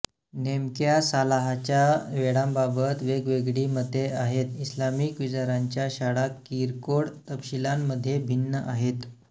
नेमक्या सालाहच्या वेळांबाबत वेगवेगळी मते आहेत इस्लामिक विचारांच्या शाळा किरकोळ तपशीलांमध्ये भिन्न आहेत